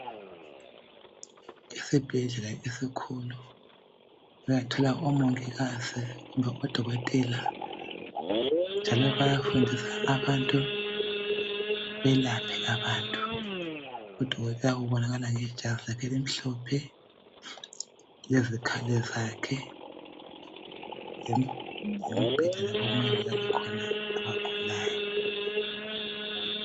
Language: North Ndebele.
Esibhedlela esikhulu, uyathola omongikazi odokotela njalo bayafundisa abantu, belaphe abantu. Udokotela ubonakala ngejazi lakhe elimhlophe lezikhali zakhe lembheda lapha okumele kulale khona abagulayo.